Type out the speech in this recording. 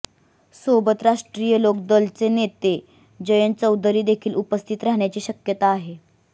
सोबतच राष्ट्रीय लोक दल चे नेते जयंत चौधरी देखील उपस्थित राहण्याची शक्यता आहे